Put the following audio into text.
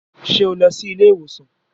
Ṣé o lọ sí ilé ìwòsàn?